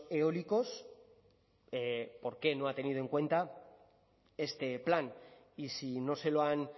eólicos por qué no ha tenido en cuenta este plan y si no se lo han